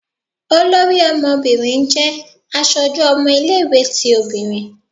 Olorí ọmọbirin jẹ aṣoju ọmọ ile-iwetí obinrín.